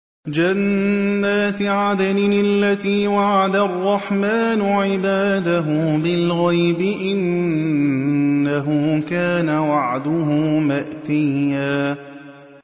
جَنَّاتِ عَدْنٍ الَّتِي وَعَدَ الرَّحْمَٰنُ عِبَادَهُ بِالْغَيْبِ ۚ إِنَّهُ كَانَ وَعْدُهُ مَأْتِيًّا